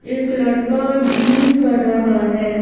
एक लड़का जिम कर रहा है।